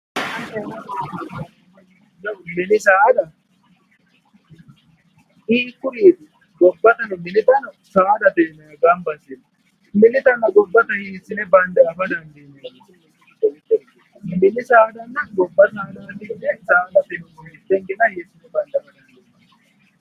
Mini saada hiikkuriti, gobbattano minittano saadate yinnuummonna, minittano gobbattano hiisine bande anfeemmo ,mininna gobba saada yine su'mine hiisine bandeemmo.